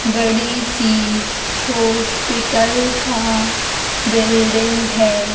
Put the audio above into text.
बड़ी सी हॉस्पिटल का बिल्डिंग है।